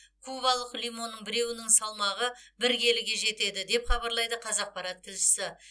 кубалық лимонның біреуінің салмағы бір келіге жетеді деп хабарлайды қазақпарат тілшісі